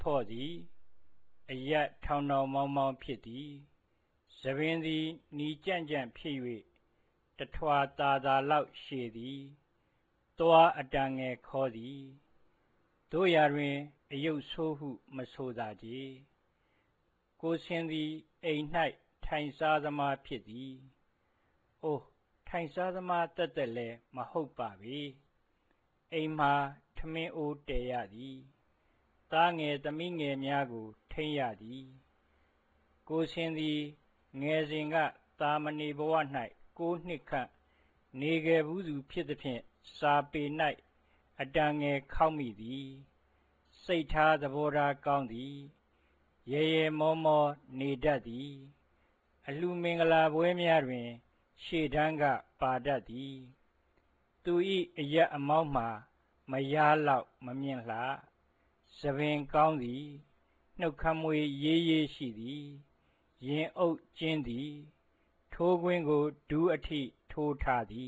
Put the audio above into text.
ဖော့သည် အရပ် ထောင်ထောင်မောင်းမောင်း ဖြစ်သည်၊၊ ဆံပင်သည် နီကြန့်ကြန့် ဖြစ်၍ တစ်ထွာ သာသာလောက် ရှည်သည်၊၊ သွား အတန်ငယ် ခေါသည်၊၊ သို့ရာတွင် အရုပ်ဆိုးဟု မဆိုသာချေ၊၊ ကိုဆင်သည် အိမ်၌ ထိုင်စားသမား ဖြစ်သည်၊၊ အို ထိုင်စားသမားသက်သက်လည်း မဟုတ်ပါပေ၊၊ အိမ်မှာ ထမင်းအိုး တည်ရသည်၊၊ သားငယ် သမီးငယ်များကို ထိန်းရသည်၊၊ ကိုဆင်သည် ငယ်စဉ်က သာမဏေဘဝ၌ ကိုးနှစ်ခန့် နေခဲ့ဖူးသူ ဖြစ်သဖြင့် စာပေ၌ အတန်ငယ် ခေါက်မိသည်၊၊ စိတ်ထား သဘောထား ကောင်းသည်၊၊ ရယ်ရယ်မောမော နေတတ်သည်၊၊ အလှူမင်္ဂလာပွဲများတွင် ရှေ့တန်းက ပါတတ်သည်၊၊ သူ၏ အရပ်အမောင်းမှာ မယားလောက် မမြင့်လှ၊၊ ဆံပင် ကောင်းသည်၊၊ နှုတ်ခမ်းမွှေး ရေးရေး ရှိသည်၊၊ ရင်အုပ် ကျဉ်းသည်၊၊ ထိုးကွင်းကို ဒူးအထိ ထိုးထားသည